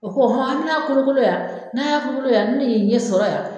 O ko han a' mi na kolo kolo yan n'a y'a kolo kolo yan an mi n'i ɲɛ sɔrɔ yan.